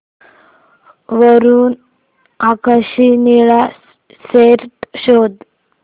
वर आकाशी निळा शर्ट शोध